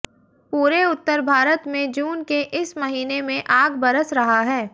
पूरे उत्तर भारत में जून के इस महीने में आग बरस रहा है